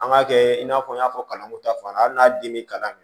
An ka kɛ in n'a fɔ n y'a fɔ kalanko ta fan n'a den bɛ kalan min